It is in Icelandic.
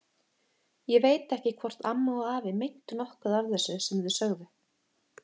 Ég veit ekki hvort amma og afi meintu nokkuð af þessu sem þau sögðu.